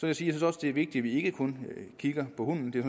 jeg synes også det er vigtigt at vi ikke kun kigger på hunden det er